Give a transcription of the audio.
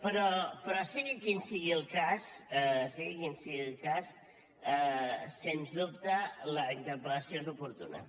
però sigui quin sigui el cas sigui quin sigui el cas sens dubte la interpel·lació és oportuna